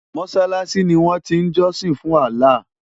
Mọ́ṣáláṣí ni wọ́n ti ń jọ́sìn fún Allah.